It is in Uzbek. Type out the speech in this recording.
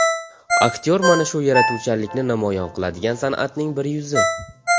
Aktyor mana shu yaratuvchanlikni namoyon qiladigan san’atning bir yuzi.